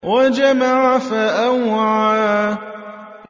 وَجَمَعَ فَأَوْعَىٰ